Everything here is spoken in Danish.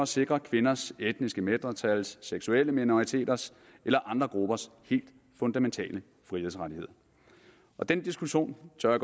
sikre kvinders etniske mindretals seksuelle minoriteters eller andre gruppers helt fundamentale frihedsrettighed den diskussion tør